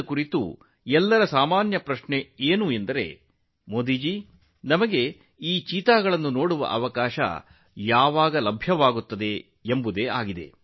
ಈ ಬಗ್ಗೆ ಜನರು ಕೇಳುವ ಸಾಮಾನ್ಯ ಪ್ರಶ್ನೆಯೆಂದರೆ ಮೋದಿ ಜೀ ಚೀತಾಗಳನ್ನು ನೋಡಲು ನಮಗೆ ಯಾವಾಗ ಅವಕಾಶ ಸಿಗುತ್ತದೆ